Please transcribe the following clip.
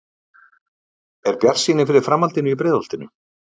Er bjartsýni fyrir framhaldinu í Breiðholtinu?